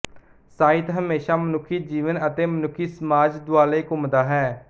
ਸਾਹਿਤ ਹਮੇਸ਼ਾ ਮਨੁੱਖੀ ਜੀਵਨ ਅਤੇ ਮਨੁੱਖੀ ਸਮਾਜ ਦੁਆਲੇ ਘੁੰਮਦਾ ਹੈ